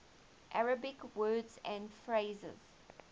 arabic words and phrases